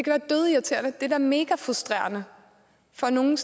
er da megafrustrerende for nogle